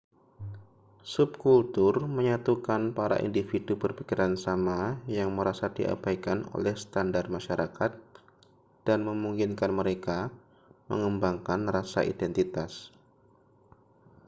subkultur menyatukan para individu berpikiran sama yang merasa diabaikan oleh standar masyarakat dan memungkinkan mereka mengembangkan rasa identitas